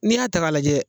N'i y'a ta k'a lajɛ